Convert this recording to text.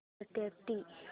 start